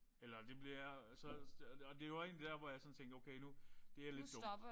Eller det bliver så og og det jo også egentlig der hvor jeg sådan tænker nu det er lidt dumt